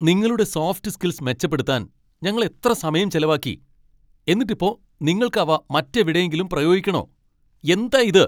നിങ്ങളുടെ soft skills മെച്ചപ്പെടുത്താൻ ഞങ്ങൾ എത്ര സമയം ചെലവാക്കി, എന്നിട്ടിപ്പോ നിങ്ങൾക്ക് അവ മറ്റെവിടെങ്കിലും പ്രയോഗിക്കണോ? എന്താ ഇത്!